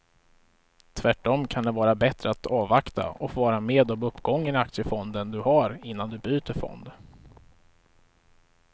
Tvärtom kan det vara bättre att avvakta och få vara med om uppgången i aktiefonden du har innan du byter fond.